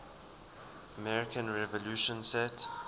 american revolution set